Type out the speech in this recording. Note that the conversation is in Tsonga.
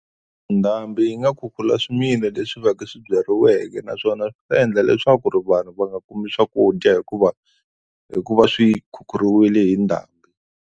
Ndhambi yi nga khukhula swimila leswi va ku swi byariweke naswona swi ta endla leswaku ri vanhu va nga kumi swakudya hikuva hi ku va swi khukhuriwile hi ndhambi.